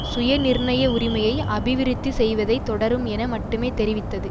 சுயநிர்ணய உரிமையை அபிவிருத்தி செய்வதை தொடரும் என மட்டுமே தெரிவித்தது